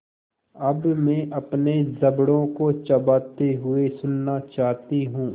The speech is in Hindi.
अब मैं अपने जबड़ों को चबाते हुए सुनना चाहती हूँ